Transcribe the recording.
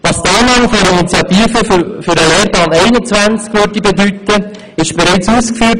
Was die Annahme der Initiative für den Lehrplan 21 bedeuten würde, wurde bereits ausgeführt.